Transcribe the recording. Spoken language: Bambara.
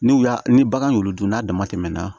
N'u y'a ni bagan y'olu dun n'a dama tɛmɛna